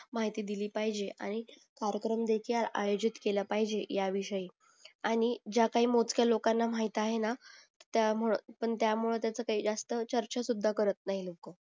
माहिती दिली पाहिजे आणि कार्यक्रम देखील आयोजित केला पाहिजे ह्या विषयी आणि ज्या काही मोजक्या लोकांना माहित आहेना त्यामुळं पण त्यामुळं त्याच काही चर्चा सुद्धा करत नाही लोक